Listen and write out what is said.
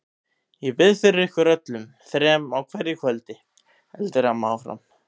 Ég bið fyrir ykkur öllum þrem á hverju kvöldi, heldur amma áfram.